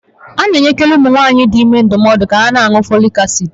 A na enyekari ụmụ nwanyị dị ime ndụmọọdu ka ha na añụ fọlịk acid